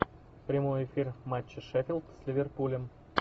прямой эфир матча шеффилд с ливерпулем